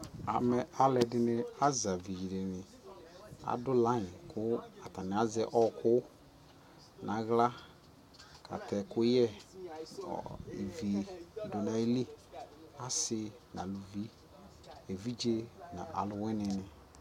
Amɛ alʋɔdini azavidini adʋ laiŋ kʋ atani azɛ ɔɔkʋ nʋ aɣla katɛ ɛkʋyɛ nʋ ivi nʋ ayʋlι Asi nʋ aluvi, evidze nʋ alʋwini